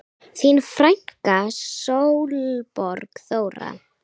Þín frænka Sólborg Þóra.